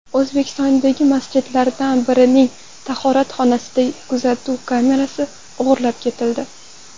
O‘zbekistondagi masjidlardan birining tahoratxonasidan kuzatuv kamerasi o‘g‘irlab ketildi.